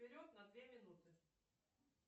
вперед на две минуты